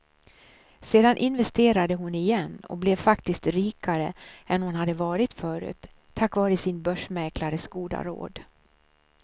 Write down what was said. Sedan investerade hon igen och blev faktiskt rikare än hon hade varit förut, tack vare sina börsmäklares goda råd.